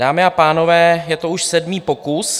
Dámy a pánové, je to už sedmý pokus.